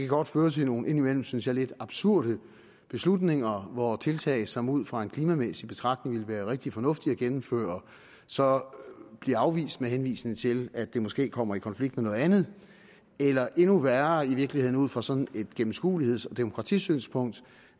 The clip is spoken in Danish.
godt føre til nogle indimellem synes jeg lidt absurde beslutninger hvor tiltag som ud fra en klimamæssig betragtning ville være rigtig fornuftige at gennemføre så bliver afvist med henvisning til at det måske kommer i konflikt med noget andet eller endnu værre i virkeligheden ud fra sådan et gennemskueligheds og demokratisynspunkt